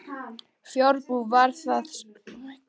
Fjárbú var þar stórt um tíma.